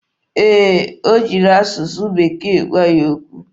Ee, o jiri asụsụ bekee gwa ya okwu.